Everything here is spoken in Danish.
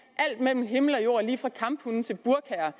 har jord lige fra kamphunde til burkaer